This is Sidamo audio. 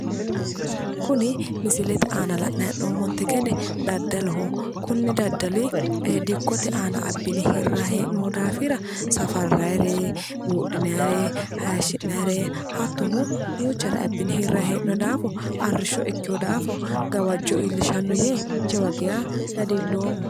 Kuni misilete aana la'nayi hee'noommonte gede daddaloho. Kuni daddali dikkote aana abbine harrayi hee'noyi daafira safarrayire, buudhinayire, hayishshsi'nayere hattono duuchare abbine hirrayi hee'noye daafo arrishsho ikkeyo daafo gawajjo iillishanno yee jawa geeshsha dadilloomma.